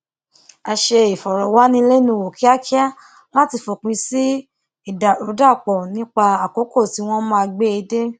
a ṣe ìfòròwánilénuwò kíákíá láti fòpin sí ìdàrúdàpò nípa àkókò tí wón máa gbé e dé